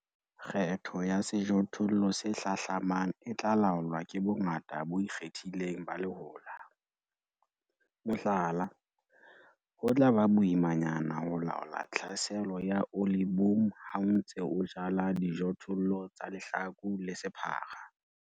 Kgetho ya sejothollo se hlahlamang e tla laolwa ke bongata bo ikgethileng ba lehola. Mohlala, ho tla ba boimanyana ho laola tlhaselo ya olieboom ha o ntse o jala dijothollo tsa lehlaku le sephara.